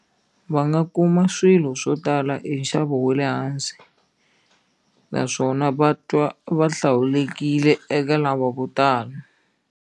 Va nga kuma swilo swo tala hi nxavo wa le hansi naswona va twa va hlawulekile eka lava vo tala.